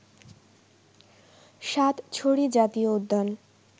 সাতছড়ি জাতীয় উদ্যান